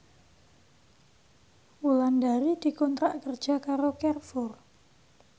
Wulandari dikontrak kerja karo Carrefour